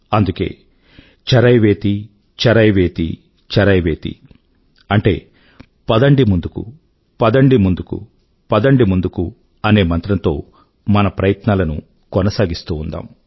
అందుకే చరైవేతి చరైవేతి చరైవేతి అంటే పదండి ముందుకు పదండి ముందుకు పదండి ముందుకు అనే మంత్రం తో మన ప్రయత్నాలను కొనసాగిస్తూ ఉందాం